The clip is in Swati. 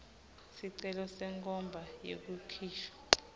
sicelo senkhomba yekukhishwa